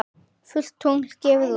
Fullt tungl gefur út.